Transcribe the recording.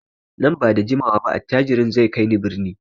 Nan ba da jimawa ba attajirin zai kai ni birni.